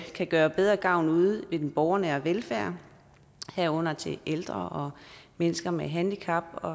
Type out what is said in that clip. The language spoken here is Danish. kan gøre bedre gavn ude i den borgernære velfærd herunder til ældre og mennesker med handicap og